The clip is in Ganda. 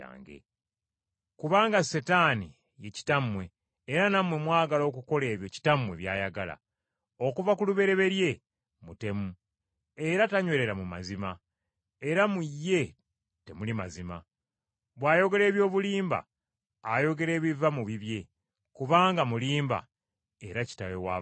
Kubanga Setaani ye kitammwe era nammwe mwagala okukola ebyo kitammwe by’ayagala. Okuva ku lubereberye mutemu era tanywerera mu mazima, era mu ye temuli mazima. Bw’ayogera eby’obulimba ayogera ebiva mu bibye, kubanga mulimba era kitaawe w’abalimba.